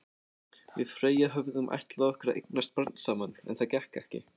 Við Freyja höfðum ætlað okkur að eignast barn saman, en það gekk ekki.